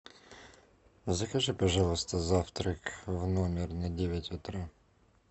закажи пожалуйста завтрак в номер на девять утра